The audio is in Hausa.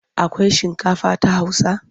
Akwai shinkafa ta Hausa?